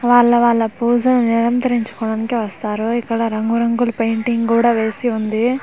వల్ల వల్ల పూజ నిరంతరించు కోవడానికి వస్తారు ఇక్కడ రంగు రంగు పెయింటింగ్ కూడా వేసి ఉంది .